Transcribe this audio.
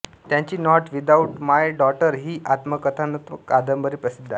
त्यांची not without my daughter ही आत्मकथनात्मक कादंबरी प्रसिद्ध आहे